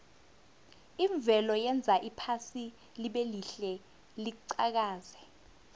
imvelo yenza iphasi libelihle liqhakaze